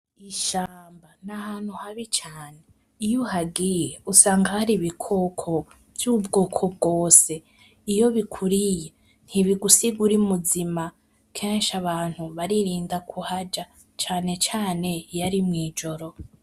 Ishamba: n'ahantu habi cane, iyo uhagiye usanga Hari ibikoko vy'ubwoko bwose. Iyo bikuriye ntibigusiga uri muzima, kenshi abantu baririnda kuhaja cane cane iyo ari mw'ijoro.